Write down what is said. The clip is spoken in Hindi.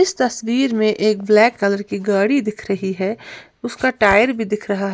इस तस्वीर में एक ब्लैक कलर की गाड़ी दिख रही है उसका टायर भी दिख रहा है।